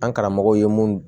An karamɔgɔ ye mun